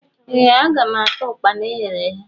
Ee aga m ata Ụkpana eghere eghe.